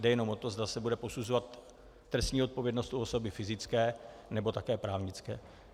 Jde jenom o to, zda se bude posuzovat trestní odpovědnost u osoby fyzické, nebo také právnické.